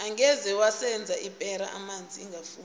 angeze waseza ipera amanzi ingafuni